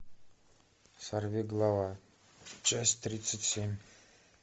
сорви голова часть тридцать семь